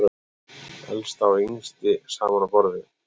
Elsta og yngsti saman á borði